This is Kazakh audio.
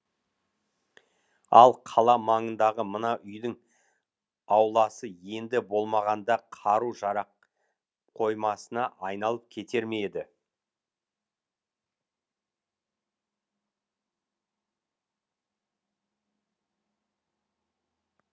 ал қала маңындағы мына үйдің ауласы енді болмағанда қару жарақ қоймасына айналып кетер ме еді